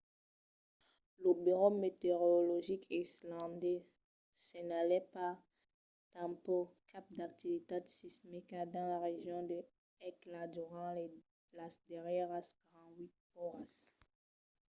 lo burèu meteorologic islandés senhalèt pas tanpauc cap d'activitat sismica dins la region de hekla durant las darrièras 48 oras